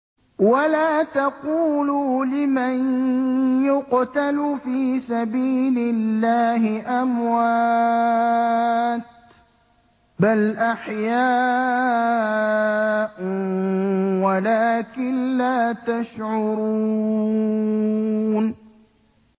وَلَا تَقُولُوا لِمَن يُقْتَلُ فِي سَبِيلِ اللَّهِ أَمْوَاتٌ ۚ بَلْ أَحْيَاءٌ وَلَٰكِن لَّا تَشْعُرُونَ